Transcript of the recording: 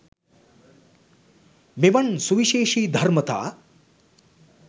මෙවන් සුවිශේෂී ධර්මතා